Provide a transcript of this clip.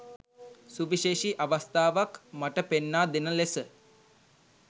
සුවිශේෂී අවස්ථාවක් මට පෙන්නා දෙන ලෙස